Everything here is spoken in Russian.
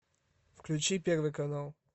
включи первый канал